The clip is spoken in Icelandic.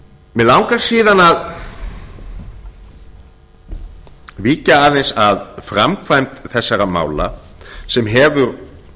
mig langar síðan að víkja aðeins að framkvæmd þessara mála sem hefur